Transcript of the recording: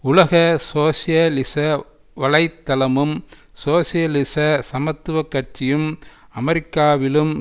உலக சோசியலிச வலை தளமும் சோசியலிச சமத்துவ கட்சியும் அமெரிக்காவிலும்